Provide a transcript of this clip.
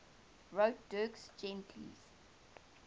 wrote dirk gently's